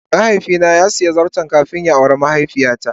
mahaifi na sa siya zarton kafin ya awre mahaifiya ta.